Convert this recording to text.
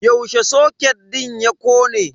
Yaushe soket din ya kone?